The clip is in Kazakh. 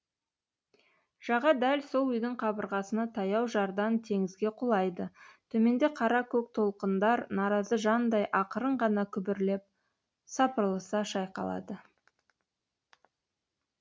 жаға дәл сол үйдің қабырғасына таяу жардан теңізге құлайды төменде қара көк толқындар наразы жандай ақырын ғана күбірлеп сапырылыса шайқалады